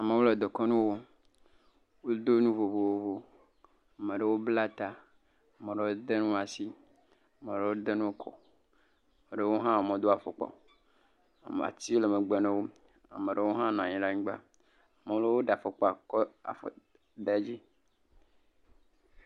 amewo le dekɔnu wɔ wodó nu vovovo maɖewo bla ta maɖewo de ŋuwo asi maɖewo hɔ̃ denu kɔ ɖewo hã modo afɔkpa o ati le megbe nawo maɖowo hã nɔyin la nyigba malewo ɖa fɔkpa kɔ afɔ dé dzí